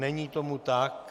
Není tomu tak.